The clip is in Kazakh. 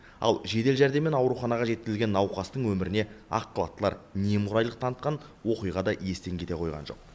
ал жедел жәрдеммен ауруханаға жеткізілген науқастың өміріне ақ халаттылар немқұрайлық танытқан оқиға да естен кете қойған жоқ